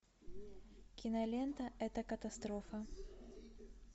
кинолента это катастрофа